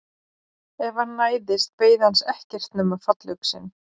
Ef hann næðist beið hans ekkert nema fallöxin.